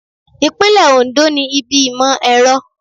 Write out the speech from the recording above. Ìpínlẹ̀ Oǹdó ní ibi ìmọ̀ ẹ̀rọ.